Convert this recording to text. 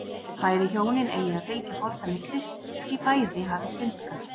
Bæði hjónin eigi að fylgja fordæmi Krists því bæði hafi syndgað.